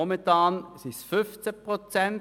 Momentan sind es 15 Prozent.